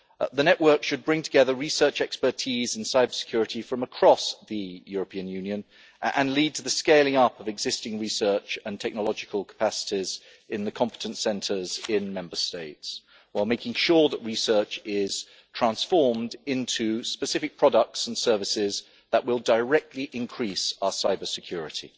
The network should bring together research and expertise in cybersecurity from across the European Union and lead to the scaling up of existing research and technological capacities in the competence centres in Member States, while making sure that research is transformed into specific products and services that will directly increase our cybersecurity.